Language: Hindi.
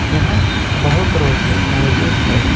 यहां बहुत रोशनी मौजूद है।